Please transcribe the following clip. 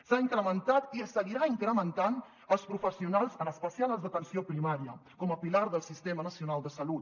s’ha incrementat i es seguirà incrementant els professionals en especial els d’atenció primària com a pilar del sistema nacional de salut